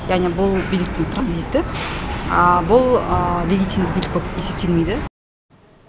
яғни бұл биліктің транзиті бұл вегетинді билік болып есептелмейді